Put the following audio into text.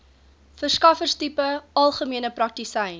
verskaffertipe algemene praktisyn